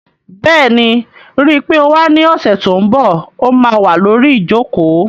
Bẹ́ẹ̀ni, ríi pé o wá ní ọ̀sẹ̀ tó n bọ̀, ó má wà lórí ìjòkó